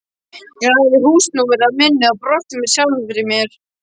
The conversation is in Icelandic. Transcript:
Ég lagði húsnúmerið á minnið og brosti með sjálfri mér.